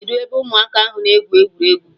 Kedụ ebe ụmụaka ahụ na-egwu egwuregwu?